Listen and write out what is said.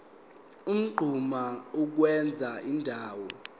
unquma ukwenza indawo